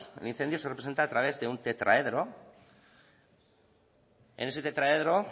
el incendio se representa a través de un tetraedro en ese tetraedro